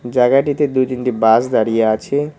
জায়গাটিতে দু তিনটি বাস দাঁড়িয়ে আছে।